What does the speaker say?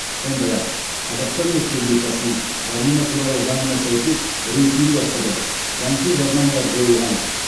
сондай ақ қазақстан республикасының жарнама туралы заңына сәйкес рейд ұйымдастырылып заңсыз жарнамалар жойылған